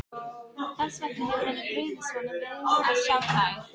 Þess vegna hefur henni brugðið svona við að sjá þær.